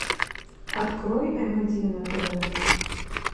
открой эм один на тв